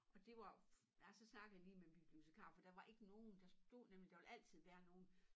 Og det var nej så snakkede jeg lige med min bibliotikar for der var ikke nogen der stod nemlig der ville altid være nogen